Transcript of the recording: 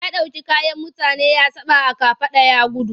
Ya ɗauki kayan mutane ya saɓa a kafaɗa ya gudu.